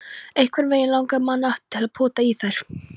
Einhvernveginn langaði mann alltaf til að pota í þær.